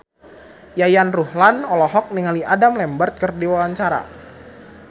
Yayan Ruhlan olohok ningali Adam Lambert keur diwawancara